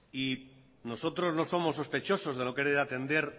nosotros no somos sospechosos de no querer atender